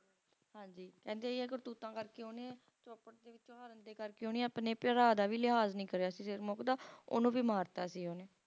ਹਾਂਜੀ ਕਹਿੰਦੇ ਅਜਿਹੀਆਂ ਕਰਤੂਤਾਂ ਕਰਕੇ ਉਹਨੇ Chopad ਦੇ ਵਿੱਚੋਂ ਹਾਰਨ ਦੇ ਕਰਕੇ ਉਹਨੇ ਆਪਣੇ ਭਰਾ ਦਾ ਵੀ ਲਿਹਾਜ ਨਹੀਂ ਕਰਿਆ ਸੀ Sirmukh ਦਾ ਉਹਨੂੰ ਵੀ ਮਾਰਤਾ ਸੀ ਉਹਨੇ